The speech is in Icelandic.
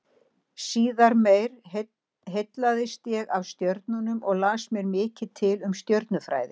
Síðar meir heillaðist ég af stjörnunum og las mér mikið til um stjörnufræði.